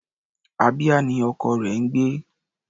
Abia ni ọkọ rẹ̀ ń gbé.